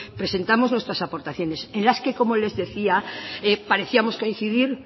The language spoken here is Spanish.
presentamos nuestras aportaciones en las que como les decía parecíamos coincidir